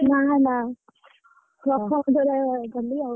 ନାଁ ନାଁ ପ୍ରଥମ ଥର ଗଲି ଆଉ,